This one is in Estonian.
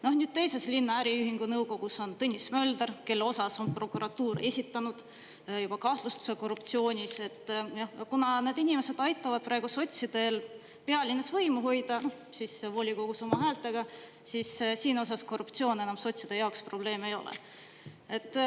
Nüüd teises linna äriühingu nõukogus on Tõnis Mölder, kelle osas on prokuratuur esitanud juba kahtlustuse korruptsioonis – kuna need inimesed aitavad praegu sotsidel pealinnas võimu hoida – siis volikogus oma häältega –, siis siin osas korruptsioon enam sotside jaoks probleem ei ole.